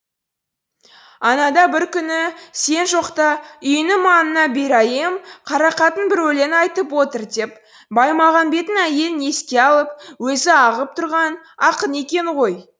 анада бір күні сен жоқта үйіңнің маңына бареам қарақатын бір өлең айтып отыр деп баимағамбеттің әйелін еске алып өзі ағып тұрған ақын екен ғой